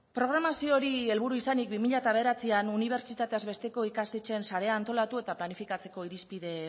programazio hori helburu izanik bi mila bederatzian unibertsitateaz besteko ikastetxeen sarea antolatu eta planifikatzeko irizpide